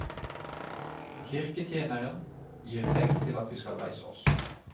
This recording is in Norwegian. Kirketjeneren gir tegn til at vi skal reise oss.